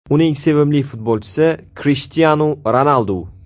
Uning sevimli futbolchisi Krishtianu Ronaldu.